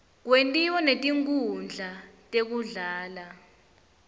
kwentiwa netinkhundla tekudlala